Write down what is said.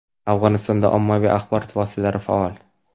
Afg‘onistonda ommaviy axborot vositalari faol.